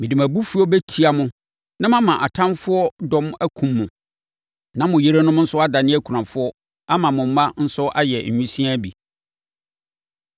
Mede mʼabufuo bɛtia mo na mama atamfoɔ dɔm akum mo na mo yerenom nso adane akunafoɔ ama mo mma nso ayɛ nwisiaa bi.